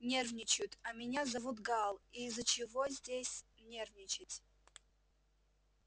нервничают а меня зовут гаал и из-за чего здесь нервничать